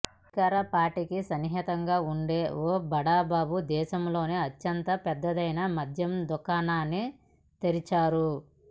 అధికారపార్టీకి సన్నిహితంగా వుండే ఓ బడాబాబు దేశంలోనే అత్యంత పెద్దదైన మద్యం దుకాణాన్ని తెరిచారు